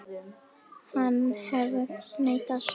Hann hefur neitað sök.